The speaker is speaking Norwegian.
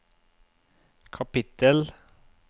kapittel